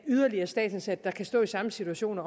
yderligere statsansatte der kan stå i samme situation